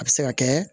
A bɛ se ka kɛ